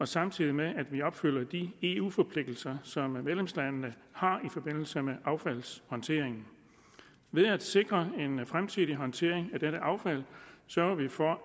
samtidig med at vi opfylder de eu forpligtelser som medlemslandene har i forbindelse med affaldshåndteringen ved at sikre en fremtidig håndtering af dette affald sørger vi for